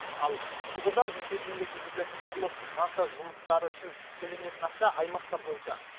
ал құбырдан үйге дейінгі жүргізілетін құрылыс монтаж жұмыстары үшін төленетін ақша аймақтар бойынша